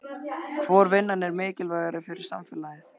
Hvor vinnan er mikilvægari fyrir samfélagið?